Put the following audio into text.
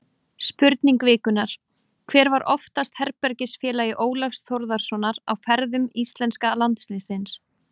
Spurning vikunnar: Hver var oftast herbergisfélagi Ólafs Þórðarsonar á ferðum íslenska landsliðsins?